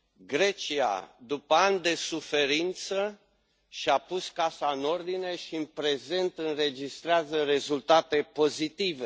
Grecia, după ani de suferință, și a pus casa în ordine și, în prezent, înregistrează rezultate pozitive.